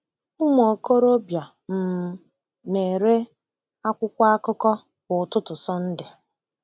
Ụmụ okorobịa um na-ere akwụkwọ akụkọ kwa ụtụtụ Sunday.